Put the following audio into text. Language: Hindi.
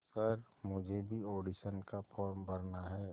सर मुझे भी ऑडिशन का फॉर्म भरना है